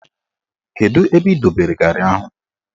Kedu ebe ị dobere garị ahụ?